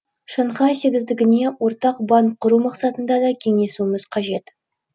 шанхай сегіздігіне ортақ банк құру мақсатында да кеңесуіміз қажет